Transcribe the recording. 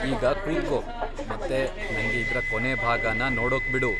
ಈಗ ಕೂತ್ಕೋ ಮತ್ತೆ ನಂಗೆ ಇದ್ರ ಕೊನೆ ಭಾಗನ ನೋಡೋಕ್ಬಿಡು.